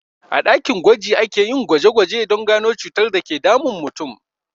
A ɗakin gwaji akeyin gwaje gwaje don gano cutar dake damun mutum